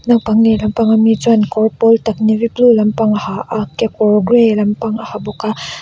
naupang lehlam pang ami chuan kawr pawl tak navy blue lampang a ha a kekawr gray lampang a ha bawk a.